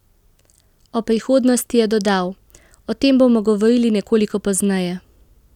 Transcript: O prihodnosti je dodal: "O tem bomo govorili nekoliko pozneje.